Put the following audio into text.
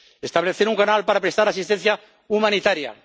establecer un canal para prestar asistencia humanitaria